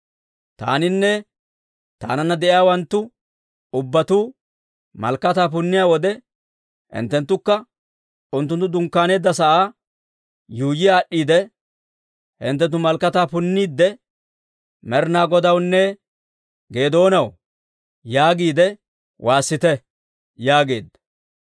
Taaninne taananna de'iyaawanttu ubbatuu malakataa punniyaa wode, hinttenttukka unttunttu dunkkaaneedda sa'aa yuuyyi aad'd'iide, hinttenttu malakataa punniidde, ‹Med'inaa Godawunne Geedoonaw!› yaagiide waassite» yaageedda.